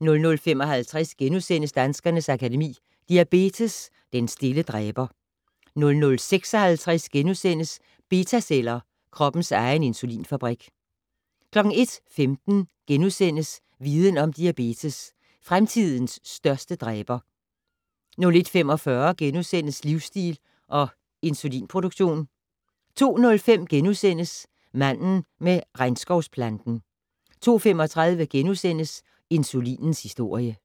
00:55: Danskernes Akademi: Diabetes - den stille dræber * 00:56: Betaceller, kroppens egen insulinfabrik * 01:15: Viden Om: Diabetes - Fremtidens største dræber * 01:45: Livsstil og insulinproduktion * 02:05: Manden med regnskovsplanten * 02:35: Insulinens historie *